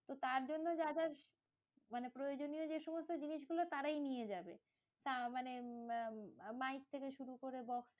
তো তার জন্য যা যা মানে প্রয়োজনীয় যে সমস্ত জিনিস গুলো তারাই নিয়ে যাবে। তা মানে মাইক থেকে শুরু করে বক্স box